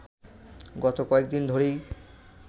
গত কয়েকদিন ধরেই